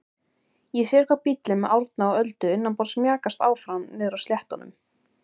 Ég sé hvar bíllinn með Árna og Öldu innanborðs mjakast áfram niðri á sléttunum.